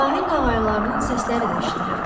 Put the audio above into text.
Sahil qağaylarının səsləri də eşidilirdi.